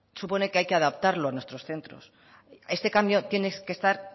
supone que hay que adaptarlo a nuestros centros este cambio tiene que estar